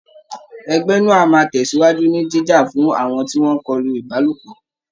Ẹgbẹ́ náà á máa tẹ̀sìwájú ni jíjà fún àwọn tí wọ́n ìkọlù Ìbálòpọ̀